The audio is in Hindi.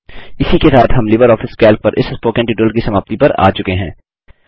इसी के साथ हम लिबर ऑफिस कैल्क पर इस स्पोकन ट्यूटोरियल की समाप्ति पर आ चुके हैं